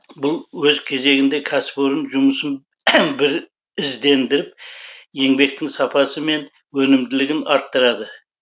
бұл өз кезегінде кәсіпорын жұмысын бір іздендіріп еңбектің сапасы мен өнімділігін арттырады